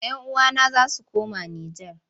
Yan uwana za su koma Nijar.